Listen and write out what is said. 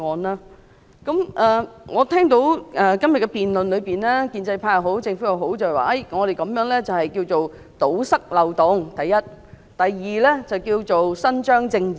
在今天的辯論中，建制派及政府均表示，政府建議修例的目的，第一是要堵塞漏洞，第二是要伸張正義。